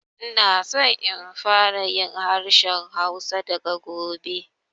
Ina so in fara yin harshen Hausa daga gobe